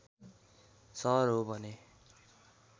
सहर हो भने